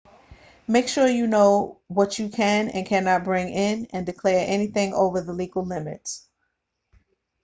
make sure you know what you can and cannot bring in and declare anything over the legal limits